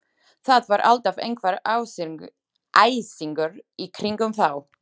Það var alltaf einhver æsingur í kringum þá.